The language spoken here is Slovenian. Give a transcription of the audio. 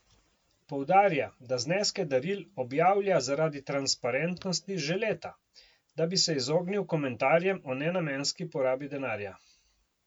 Poudarja, da zneske daril objavlja zaradi transparentnosti že leta, da bi se izognil komentarjem o nenamenski porabi denarja.